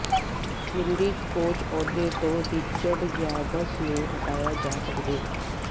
Windies coach ਅਹੁਦੇ ਤੋਂ Richard Pybus ਨੂੰ ਹਟਾਇਆ ਜਾ ਸਕਦੈ